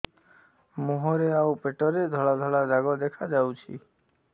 ମୁହଁରେ ଆଉ ପେଟରେ ଧଳା ଧଳା ଦାଗ ଦେଖାଯାଉଛି